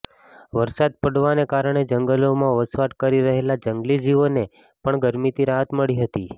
વરસાદ પડવાને કારણે જંગલોમાં વસવાટ કરી રહેલા જંગલી જીવોને પણ ગરમીથી રાહત મળી હતી